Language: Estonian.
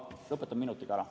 Ma lõpetan minutiga ära.